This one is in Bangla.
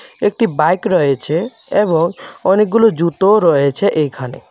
একটি বাইক রয়েছে এবং অনেকগুলো জুতোও রয়েছে এইখানে .